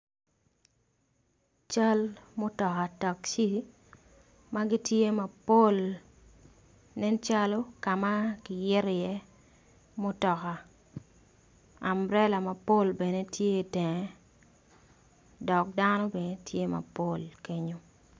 Cal mutoka, ma gitye mapol nen calo ka ma ki yito iye mutoka amburela mapol bene tye itenge dok dano bene tye mapol.